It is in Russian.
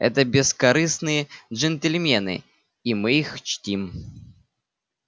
это бескорыстные джентльмены и мы их чтим